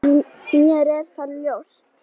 Mér er það ljóst.